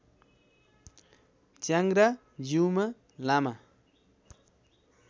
च्याङ्ग्रा Jiuma लामा